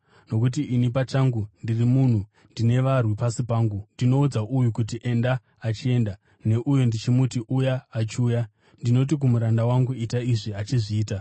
Nokuti ini pachangu ndiri munhu anorayirwa, ndine varwi pasi pangu. Ndinoudza uyu kuti, ‘Enda,’ achienda; neuyo ndichimuti, ‘Uya,’ achiuya. Ndinoti kumuranda wangu, ‘Ita izvi,’ achizviita.”